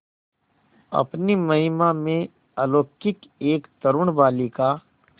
अपनी महिमा में अलौकिक एक तरूण बालिका